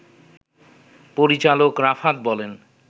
পরিচালক রাফাত বলেন